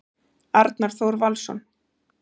Arnar Þór Valsson